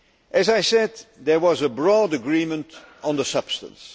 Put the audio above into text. As I said, there was a broad agreement on the substance.